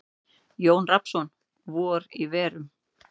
Jón Rafnsson: Vor í verum.